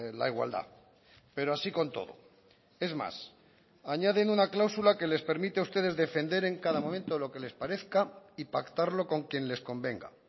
la igualdad pero así con todo es más añaden una cláusula que les permite a ustedes defender en cada momento lo que les parezca y pactarlo con quien les convenga